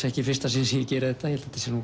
ekki í fyrsta sinn sem ég geri þetta ég held þetta sé